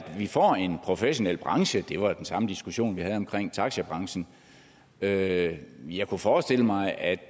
vi får en professionel branche det var den samme diskussion vi havde om taxabranchen jeg jeg kunne forestille mig at